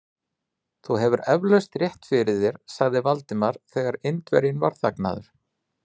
Þú hefur eflaust rétt fyrir þér sagði Valdimar, þegar Indverjinn var þagnaður.